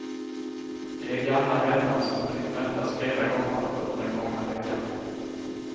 De är gamla vänner som hunnit mötas flera gånger under den gångna veckan.